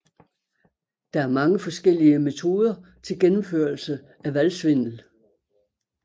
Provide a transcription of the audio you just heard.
Der er mange forskellige metoder til gennemførelse af valgsvindel